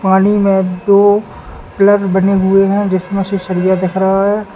पानी में दो प्लग बने हुए है जिसमें से सरिया दिख रहा है।